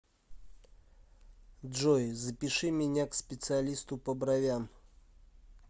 джой запиши меня к специалисту по бровям